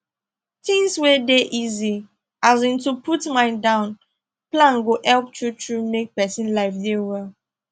things wey dey easy as in to put mind down plan go help true true make person life dey well